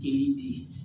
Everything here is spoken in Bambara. Jeli di